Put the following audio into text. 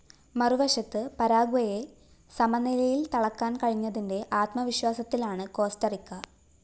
മറുവശത്ത് പരാഗ്വെയെ സമനിലയില്‍ തളക്കാന്‍ കഴിഞ്ഞതിന്റെ ആത്മവിശ്വാസത്തിലാണ് കോസ്റ്ററിക്ക